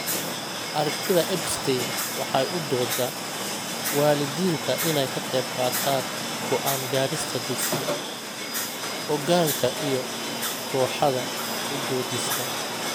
Aragtida Epstein waxay u dooddaa waalidiinta inay ka qaybqaataan go'aan gaarista dugsiga, hoggaanka iyo kooxaha u doodista.